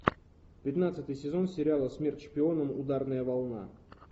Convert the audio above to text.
пятнадцатый сезон сериала смерть шпионам ударная волна